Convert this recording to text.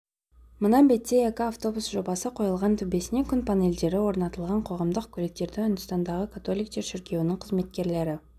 мына бетте екі автобус жобасы қойылған төбесіне күн панельдері орнатылған қоғамдық көліктерді үндістандағы католиктер шіркеуінің қызметкерлері